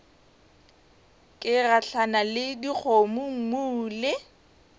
ke gahlana le dikgomommuu le